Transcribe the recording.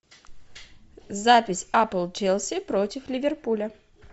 запись апл челси против ливерпуля